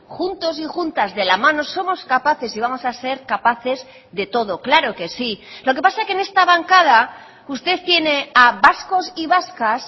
juntos y juntas de la mano somos capaces y vamos a ser capaces de todo claro que sí lo que pasa es que en esta bancada usted tiene a vascos y vascas